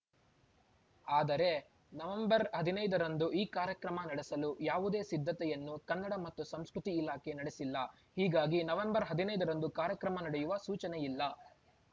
ಆದರೆ ನವೆಂಬರ್ ಹದಿನೈದರಂದು ಈ ಕಾರ್ಯಕ್ರಮ ನಡೆಸಲು ಯಾವುದೇ ಸಿದ್ಧತೆಯನ್ನು ಕನ್ನಡ ಮತ್ತು ಸಂಸ್ಕೃತಿ ಇಲಾಖೆ ನಡೆಸಿಲ್ಲ ಹೀಗಾಗಿ ನವೆಂಬರ್ ಹದಿನೈದರಂದು ಕಾರ್ಯಕ್ರಮ ನಡೆಯುವ ಸೂಚನೆಯಿಲ್ಲ